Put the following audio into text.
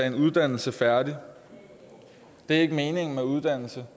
en uddannelse færdig det er ikke meningen med uddannelse